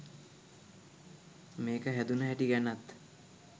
මේක හැදුන හැටි ගැනත්